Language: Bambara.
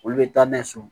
Olu bɛ taa n'a ye so